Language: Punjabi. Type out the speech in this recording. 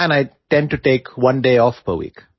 and I tend to take one day off per week